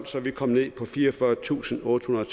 så vi kom ned på fireogfyrretusinde og ottehundrede